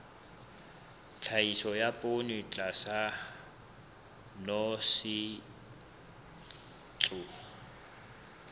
tlhahiso ya poone tlasa nosetso